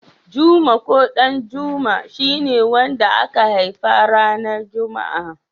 Juma ko Ɗanjuma shi ne wanda aka haifa ranar juma'a.